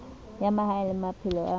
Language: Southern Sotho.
ya mahaeng le maphelo a